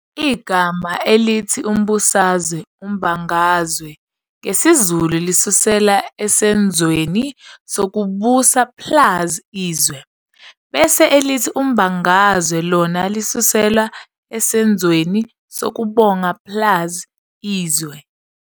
Igama elithi umbusazwe, umbangazwe, ngesiZulu lisuselwa esenzweni sokubusa plus izwe, bese elithi umbangazwe lona lisuselwa esenzweni sokubanga plus izwe.